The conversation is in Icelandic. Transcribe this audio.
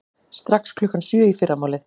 Strax klukkan sjö í fyrramálið.